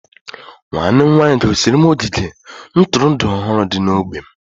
nwanne m nwanyị gosiri m ogige ntụrụndụ ọhụrụ dị n'ógbè m